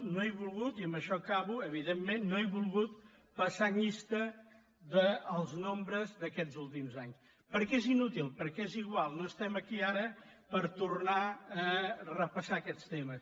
no he volgut i amb això acabo evidentment passar llista dels nombres d’aquests últims anys perquè és inútil perquè és igual no estem aquí ara per tornar a repassar aquests temes